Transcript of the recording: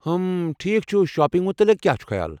ام، ٹھیٖکھ چھُ، شاپنٛگ متعلِق کیٚا چھُ خیال؟